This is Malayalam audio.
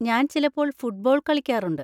ഞാൻ ചിലപ്പോൾ ഫുട്ബോൾ കളിക്കാറുണ്ട്.